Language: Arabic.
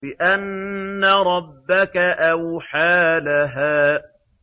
بِأَنَّ رَبَّكَ أَوْحَىٰ لَهَا